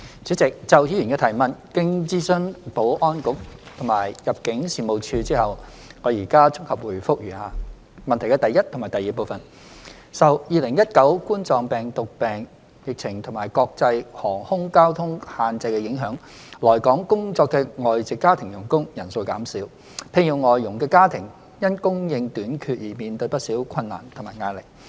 主席，就議員的質詢，經諮詢保安局及入境事務處後，我現綜合答覆如下：一及二受2019冠狀病毒病疫情及國際航空交通限制的影響，來港工作的外籍家庭傭工人數減少，聘用外傭的家庭因供應短缺而面對不少困難和壓力。